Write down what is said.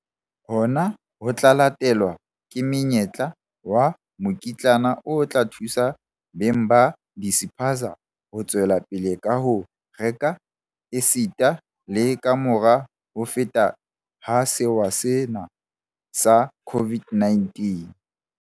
Hona ho tla latelwa ke monyetla wa mokitlane o tla thusa beng ba dispaza ho tswelapele ka ho reka esita le kamora ho feta ha sewa sena sa COVID-19.